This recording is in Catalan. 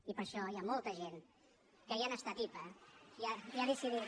i per això hi ha molta gent que ja n’està tipa i ha decidit